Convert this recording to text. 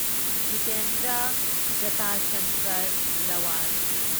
Jitendra Jatsankar Rawal